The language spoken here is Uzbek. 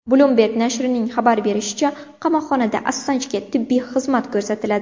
Bloomberg nashrining xabar berishicha, qamoqxonada Assanjga tibbiy xizmat ko‘rsatiladi.